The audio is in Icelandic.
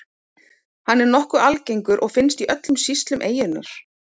Hann er nokkuð algengur og finnst í öllum sýslum eyjunnar.